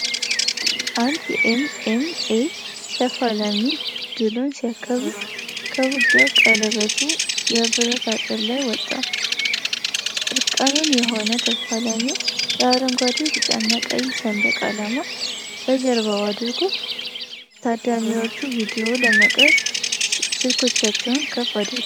አንድ የኤም. ኤም.ኤ ተፋላሚ ድሉን ሲያከብር ከውጊያ ቀለበቱ የብረት አጥር ላይ ወጣ። እርቃኑን የሆነው ተፋላሚው የአረንጓዴ፣ ቢጫና ቀይ ሰንደቅ ዓላማ በጀርባው አድርጓል። ታዳሚዎች ቪዲዮ ለመቅረጽ ስልኮቻቸውን ከፍ አድርገዋል።